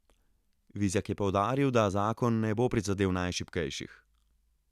Vizjak je poudaril, da zakon ne bo prizadel najšibkejših.